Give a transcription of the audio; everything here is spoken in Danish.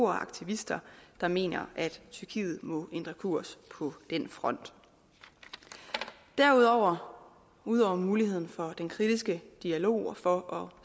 og aktivister der mener at tyrkiet må ændre kurs på den front ud over ud over muligheden for den kritiske dialog og for at